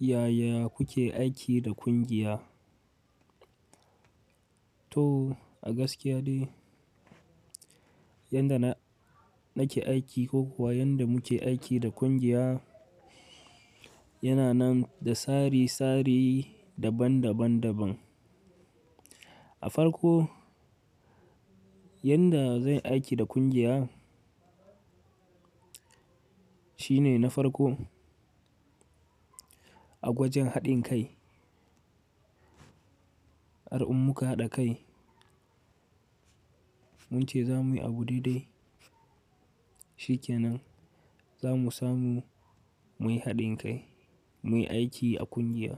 Yaya kuke aiki da kungiya? To a gaskiya dai, yadda na nake aiki ko kuwa yadda muke aiki da kungiya yana nan da tsari tsari daban daban daban. A farko, yadda zai aiki da kungiya shine na farko a gwajin haɗin kai. Har in muka haɗa kai mun ce za muyi abu diɗai, shi ke nan za mu samu muyi haɗin kai muyi aiki a kungiya.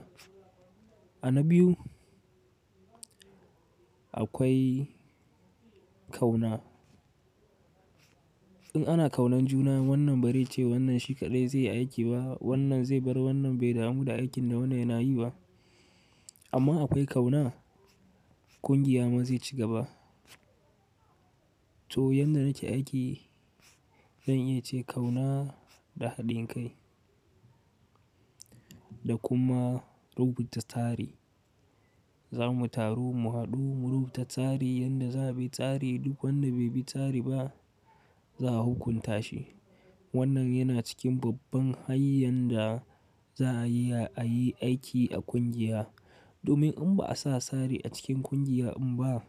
A na biyu, akwai kauna. In ana kaunan juna wannan baraice wannan shi kaɗai zai yi aiki ba, wannan zai bar wannan bai damu da aikin da wannan yana yi ba. Amma akwai kauna, kungiya ma zai ci gaba. To yadda nake aiki zan iya ce kauna da haɗin kai da kuma rubuta tsari. Za mu taru mu haɗu mu rubuta tsari yadda za mu yi tsari duk wanda bai bi tsari ba za a hukunta shi. Wannan yana cikin babban hanyar da za a iya a yi aiki a kungiya. Domin in ba a sa tsari a cikin kungiya in ba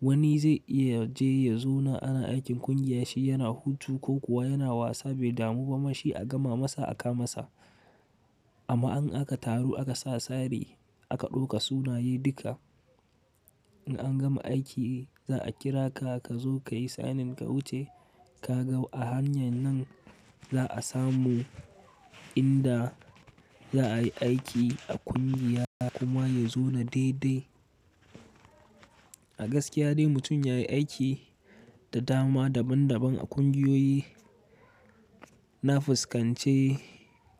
wani zai iya yaje yazo na ana aikin kungiya shi yana hutu ko kuwa yana wasa bai damu ba ma shi a gama masa a ka masa. Amma in aka taru aka sa tsari aka ɗauka sunaye duka, in an gama aiki za a kira ka ka zo ka yi sign in ka wuce kaga. A hanyar nan za a samu inda za ayi aiki a kungiya kuma yazo na daidai. A gaskiya dai mutum yayi aiki da dama daban daban a kungiyoyi na fuskance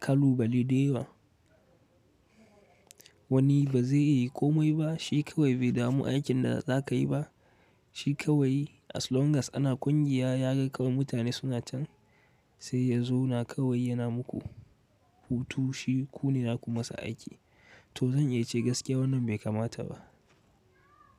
kalubale dayawa. Wani ba zai iya komai ba shi kawai bai damu aikin da za ka yi ba. Shi kawai as long as ana kungiya ya ga kawai mutane suna can sai ya zauna kawai yana muku hutu shi kune zaku masa aiki. To zan iya ce gaskiya wannan bai kamata ba.